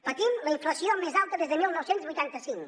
patim la inflació més alta des de dinou vuitanta cinc